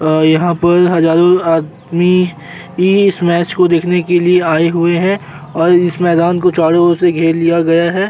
अं यहाँ पर हजारों आदमी ई इस मैंच को देखने के आए हुए हैं और इस मैंदान को चारों ओर से घेर लिया गया है।